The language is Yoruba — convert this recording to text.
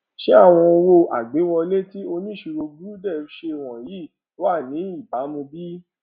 ṣé àwọn owó agbéwọlé tí oníṣirò gurudev ṣe wònyìí wa ní ìbàmu bí